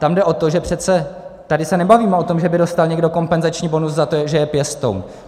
Tam jde o to, že přece tady se nebavíme o tom, že by dostal někdo kompenzační bonus za to, že je pěstoun.